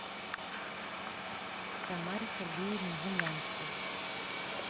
тамаре сергеевне землянской